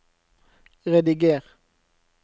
rediger